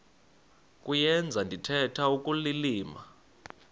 kuyenza ndithetha ukulilima